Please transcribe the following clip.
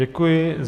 Děkuji.